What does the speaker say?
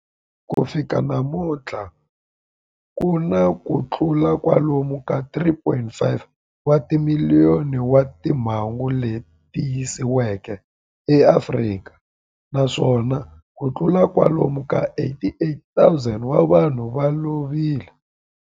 Ku fika namuntlha ku na kutlula kwalomu ka 3.5 wa timiliyoni wa timhangu leti tiyisisiweke eAfrika, naswona kutlula kwalomu ka 88,000 wa vanhu va lovile.